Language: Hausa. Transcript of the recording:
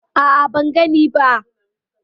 A'a, ban gani ba.